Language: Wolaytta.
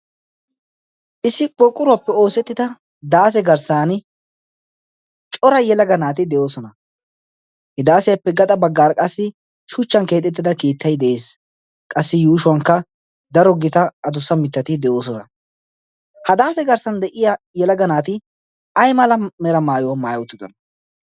issi pooqquruwaappe oosettida daase garssan cora yelaga naati de7oosona he daasiyaappe gaxa baggaar qassi shuchchan keexettida kiittai de'ees. qassi yuushuwankka daro gita adussa mittati de'oosona. ha daase garssan de'iya yelagga naati ai mala mera maayuwaa maayaottidana?